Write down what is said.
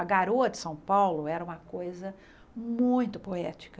A garoa de São Paulo era uma coisa muito poética.